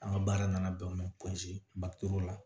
An ka baara nana bɛn u ma matu la